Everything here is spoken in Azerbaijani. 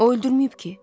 O öldürməyib ki?